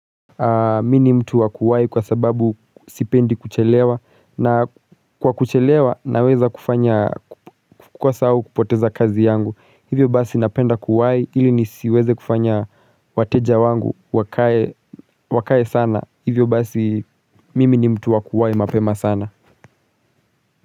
Mii ni mtu wakuwahi kwa sababu sipendi kuchelewa na kwa kuchelewa naweza kufanya kukwasa au kupoteza kazi yangu hivyo basi napenda kuwahi ili nisiweze kufanya wateja wangu wakae sana hivyo basi mimi ni mtu wa kuwahi mapema sana.